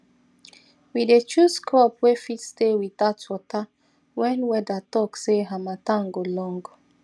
we dey choose crop way fit stay without water when weather talk say harmattan go long